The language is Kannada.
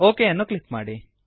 ಒಕ್ ಅನ್ನು ಕ್ಲಿಕ್ ಮಾಡಿ